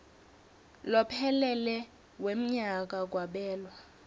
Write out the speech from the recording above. lophelele wemnyaka kwabelwa